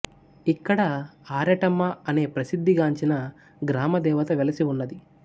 ఇక్కడ ఆరెటమ్మ అనే ప్రసిద్ధి గాంచిన గ్రామ దెవత వెలసి ఉన్నది